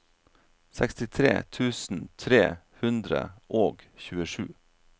sekstitre tusen tre hundre og tjuesju